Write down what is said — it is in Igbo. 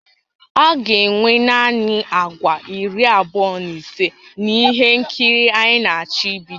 A ga-enwe naanị àgwà iri abụọ na ise na ihe nkiri a anyị na-achọ ibido